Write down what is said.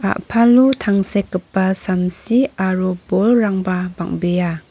a·palo tangsekgipa samsi aro bolrangba bang·bea.